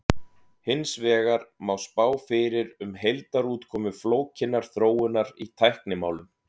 hins vegar má spá fyrir um heildarútkomu flókinnar þróunar í tæknimálum